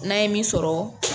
N'an ye min sɔrɔ